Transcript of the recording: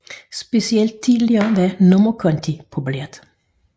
Specielt i tidligere tider var nummerkonti populært